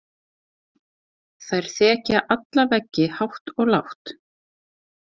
Þær þekja alla veggi hátt og lágt.